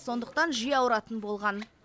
сондықтан жиі ауыратын болған